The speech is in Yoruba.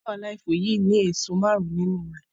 imú five alive yìí ni èso márùn nínú rẹ